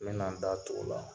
N mɛna n da tu o la.